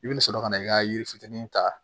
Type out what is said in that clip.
I bɛna sɔrɔ ka na i ka yiri fitinin ta